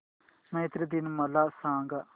मैत्री दिन मला सांगा